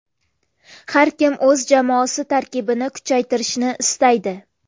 Har kim o‘z jamoasi tarkibini kuchaytirishni istaydi.